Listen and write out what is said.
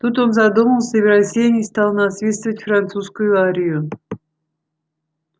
тут он задумался и в рассеянии стал насвистывать французскую арию